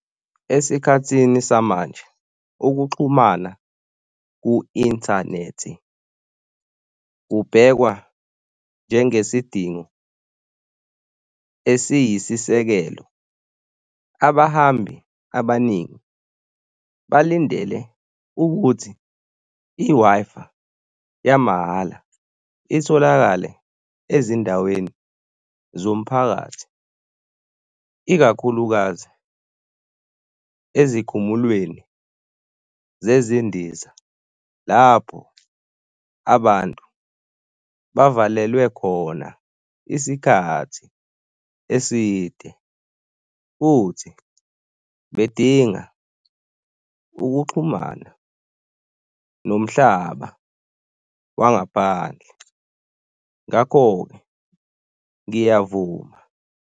Esikhathini samanje, ukuxhumana ku-inthanethi kubhekwa njenge sidingo esiyisisekelo. Abahambi abaningi balindele ukuthi i-Wi-Fi yamahhala itholakale ezindaweni zomphakathi, ikakhulukazi ezikhumulweni zezindiza, lapho abantu bavalelelwe khona isikhathi eside futhi bedinga ukuxhumana nomhlaba wangaphandle. Ngakho-ke ngiyavuma.